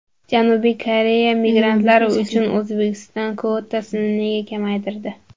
Janubiy Koreya migrantlar uchun O‘zbekiston kvotasini nega kamaytirdi?.